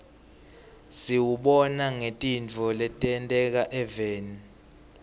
siwubona ngetintfo letenteka eveni